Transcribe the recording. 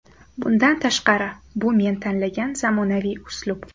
Bundan tashqari, bu men tanlagan zamonaviy uslub.